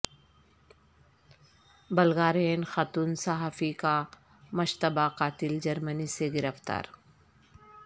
Bulgarian خاتون صحافی کا مشتبہ قاتل جرمنی سے گرفتار